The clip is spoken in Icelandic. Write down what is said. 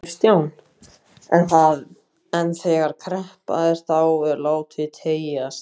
Kristján: En þegar kreppa er þá er þetta látið teygjast?